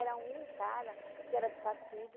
Era um cara que era do partido.